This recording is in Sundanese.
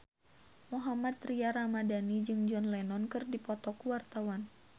Mohammad Tria Ramadhani jeung John Lennon keur dipoto ku wartawan